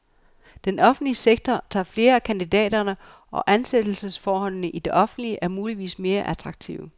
Den offentlige sektor tager flere af kandidaterne, og ansættelsesforholdene i det offentlige er muligvis mere attraktive.